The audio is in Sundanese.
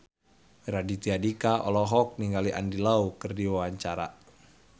Raditya Dika olohok ningali Andy Lau keur diwawancara